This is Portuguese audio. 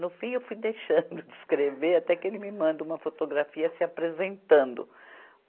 No fim, eu fui deixando de escrever, até que ele me manda uma fotografia se apresentando.